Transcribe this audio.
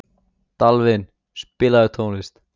Dalvin, spilaðu tónlist.